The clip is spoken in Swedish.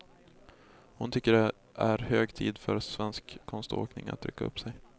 Hon tycker det är hög tid för svensk konståkning att rycka upp sig.